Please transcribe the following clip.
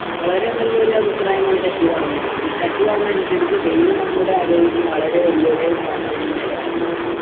വളരെ നല്ലൊരു അഭിപ്രായമാണ് ശശി പറഞ്ഞിരിക്കുന്നത് ഈ ശശി പറഞ്ഞതനുസരിച്ച് വെയിൽ നമ്മുടെ ആരോഗ്യത്തിന് വളരെ വല്യൊരു പ്രാധാന്യമായ ഘടകമാണ്